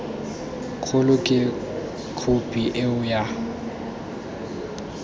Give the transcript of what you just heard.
kgolo ke khophi eo ya